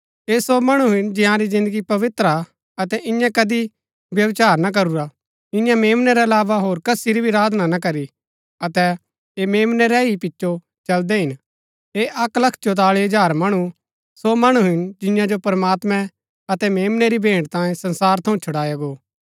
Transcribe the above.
ऐह सो मणु हिन जंयारी जिन्दगी पवित्र हा अतै इन्यै कदी व्यभिचार ना करूरा इन्यै मेम्नै रै अलावा होर कसी री भी आराधना ना करी अतै ऐह मेम्नै रै ही पिचो चलदै हिन ऐह अक्क लख चौताळी हजार मणु सो मणु हिन जिन्या जो प्रमात्मैं अतै मेम्नै री भेंट तांये संसार थऊँ छुडाया गो